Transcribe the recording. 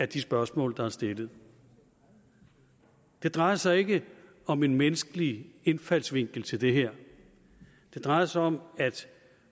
de spørgsmål der er stillet det drejer sig ikke om en menneskelig indfaldsvinkel til det her det drejer sig om at